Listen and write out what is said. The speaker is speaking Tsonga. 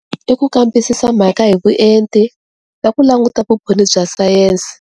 I ku kambisisa mhaka hi vuenti na ku langutisa vumbhoni bya science.